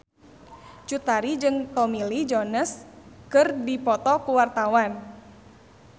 Cut Tari jeung Tommy Lee Jones keur dipoto ku wartawan